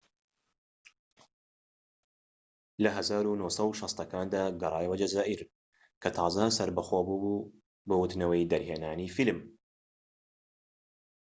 لە ١٩٦٠ کاندا، گەڕایەوە جەزائیر کە تازە سەربەخۆ بووبوو بۆ وتنەوەی دەرهێنانی فلیم